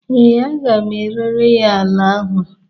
ee, a ga m erere ya ala ahụ